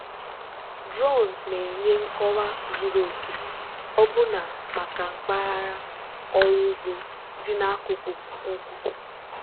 drones na-enye nkọwa zuru oke ọbụna maka mpaghara ọrụ ugbo dị n'akụkụ ugwu.